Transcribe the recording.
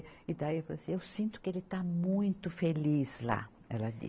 E daí eu falei assim, eu sinto que ele está muito feliz lá, ela disse.